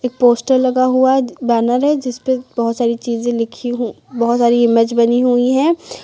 Poster लगा हुआ banner है जिस पे बहुत सारी चीजें लिखी हु बहुत सारी इमेज बनी हुई हैं।